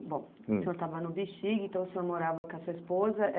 Bom, o senhor estava no Bixiga, então o senhor morava com a sua esposa.